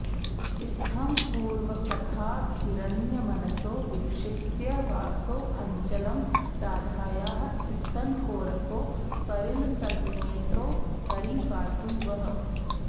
इत्थं पूर्वकथाभिरन्यमनसो विक्षिप्य वासोऽञ्चलं राधायाः स्तनकोरको परिलसन्नेत्रो हरिः पातु वः